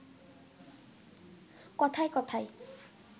কথায় কথায়